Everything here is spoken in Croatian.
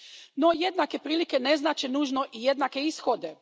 No, jednake prilike ne znače nužno i jednake ishode.